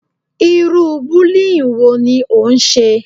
Irú bullying wo ni ó ń ṣe?